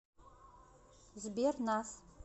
сбер нас